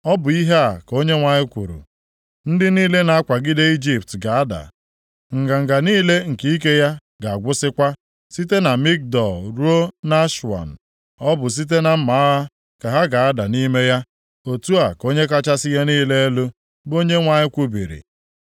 “ ‘Ọ bụ ihe a ka Onyenwe anyị kwuru: “ ‘Ndị niile na-akwagide Ijipt ga-ada, nganga niile nke ike ya ga-agwụsịkwa. Site na Migdol ruo nʼAswan, ọ bụ site na mma agha ka ha ga-ada nʼime ya. + 30:6 Ka a ga-eji gbuchapụ ha Otu a ka Onye kachasị ihe niile elu, bụ Onyenwe anyị kwubiri.